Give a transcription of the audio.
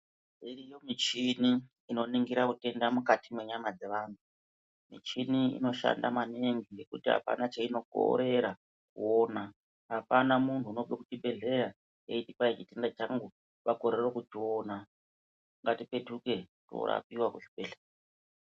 Iriyo michini inoningira utenda mukati mwenyama dzevanthu michini inoshanda maningi nekuti apana chainokorera kuona apana munthu unobve kuchibhedhleya eiti kwai chitenda changu wakorere kuchiona ngatipetuke torapiwa kuchibhedhleya.